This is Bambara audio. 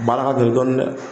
Nin baara ka gɛlɛn dɔɔnin dɛ.